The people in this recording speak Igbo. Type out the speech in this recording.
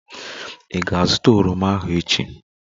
Ị ga-azụta oroma ahu echi!